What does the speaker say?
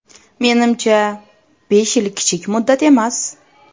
Menimcha, besh yil kichik muddat emas.